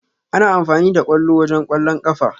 A na amfani da ƙwallo wajen Ƙwallon ƙafa.